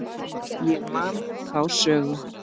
Ég man þá sögu.